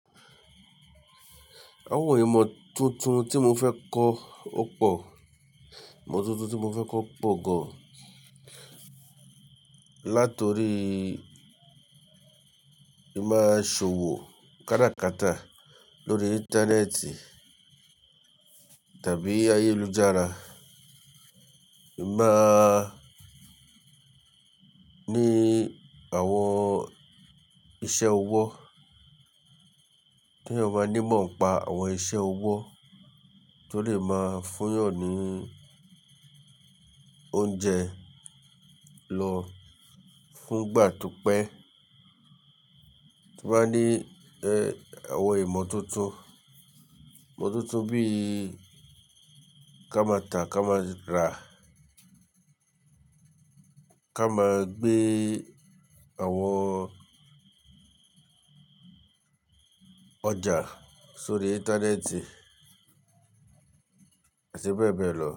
Àwọn ìmọ̀ tuntun tí mo fẹ́ kọ́ ó pọ̀. Ìmọ̀ tuntun tí mo fẹ́ kọ́ pọ̀ gan-an. Látorí, ì máa ṣòwò káràkátà lórí Íńtánẹ́ẹ̀tì tàbí ayélujára. Ì máa ní àwọn iṣẹ́ ọwọ́. Kí eyan máa ní imọ̀ npá àwọn iṣẹ́ ọwọ́ tó lè máa fún eyàn ní oúnjẹ lọ fún ìgbà tó pẹ́. To ba ni awon imototo ìmọ̀ tuntun bí i ká máa ta, ká máa rá. Ká máa gbé àwọn ọjà sórí Íńtánẹ́ẹ̀tì àti bẹ́ẹ̀ bẹ́ẹ̀ lọ.